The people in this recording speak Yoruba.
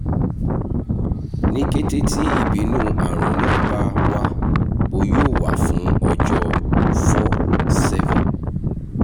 ni kete ti ibinu arun naa ba wa o yoo wa fun ọjọ 4-7